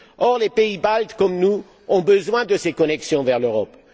Or, les pays baltes, comme nous, ont besoin de ces connexions vers l'Europe.